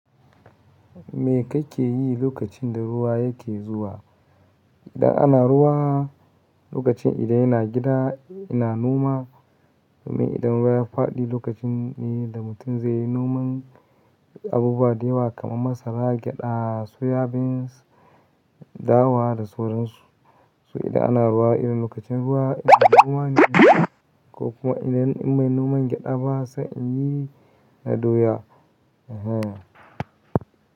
Me kake yi lokacin da ruwa yake zuwa? Idan ana ruwa, lokacin idan ina gida, ina Noma. Idan ruwa ya faɗi, lokacin ne da mutum zai yi Noman abubuwa da yawa kamar Masara, Gyaɗa, Soya Beans, Dawa da sauran su. So idan ana ruwa, idan lokacin ruwa ina Noma Gyada ko kuma idan in ban Noma Gyada ba, sai in yi na Doya. Ehen.